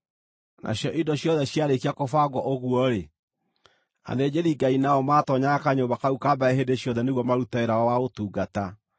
Nacio indo ciothe ciarĩkia kũbangwo ũguo-rĩ, athĩnjĩri-Ngai nao maatoonyaga kanyũmba kau ka mbere hĩndĩ ciothe nĩguo marute wĩra wao wa ũtungata.